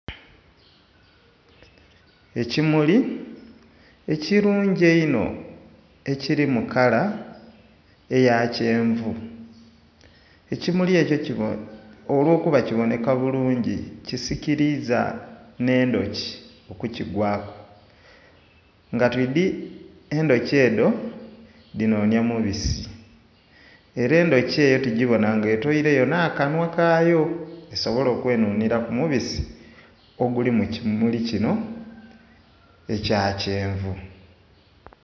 Ekimuli ekirungi einho ekiri mu kala eya kyenvu, ekimuli ekyo olw'okuba kiboneka bulungi kisikiriiza n'endhuki okukigwaku. Nga twiidi endhuki edho dhinonya mubisi era endhuki eyo tugibona nga etweireyo n'akanhwa kayo esobole okwenhunhira ku mubisi oguli mu kimuli kino ekya kyenvu.